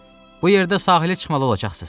Bu yerdə sahilə çıxmalı olacaqsız.